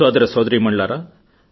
సోదరసోదరీమణులారా